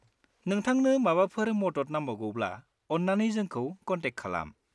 नोंथांनो माबाफोर मदद नांबावगौब्ला अन्नानै जोंखौ कनटेक खालाम।